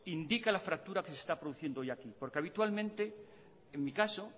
indica la fractura que se está produciendo hoy aquí porque habitualmente en mi caso